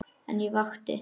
En ég vakti.